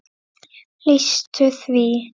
lýstu því?